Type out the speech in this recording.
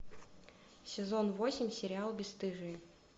сезон восемь сериал бесстыжие